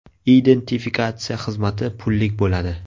Identifikatsiya xizmati pullik bo‘ladi.